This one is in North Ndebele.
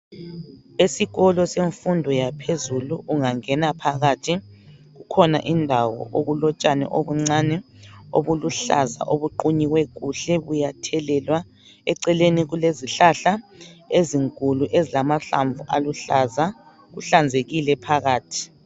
Esikolo semfundo yaphezulu ungangena phakathi kukhona indawo okulotshani obuncane obuluhlaza obuqunywe kuhle buyathelelwa eceleni kulezihlahla ezinkulu ezilamahlamvu aluhlaza kuhlanzekile phakathi.